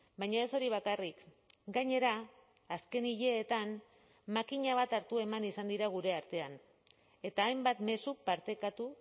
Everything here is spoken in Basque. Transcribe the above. baina ez hori bakarrik gainera azken hileetan makina bat hartu eman izan dira gure artean eta hainbat mezu partekatu